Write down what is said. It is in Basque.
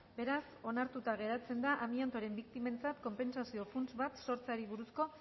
beraz onartuta geratzen da amiantoren biktimentzat konpentsazio funts bat sortzeari buruzko